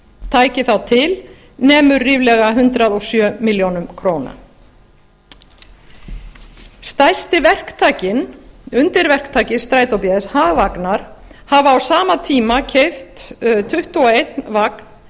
tæki þá til nemur ríflega hundrað og sjö milljónir króna stærsti verktakinn undirverktaki strætó bs hagvagnar hafa á sama tíma keypt tuttugu og einn vagn